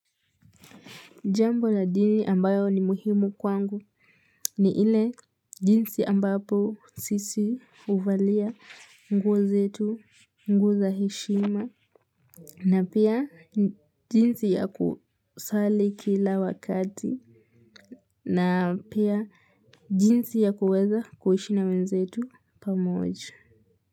Jambo la jini ambayo ni muhimu kwangu ni ile jinsi ambapo sisi uvalia nguo zetu nguo za heshima. Na pia jinsi ya kusali kila wakati. Na pia jinsi ya kuweza kuishi na wenzetu pamoja.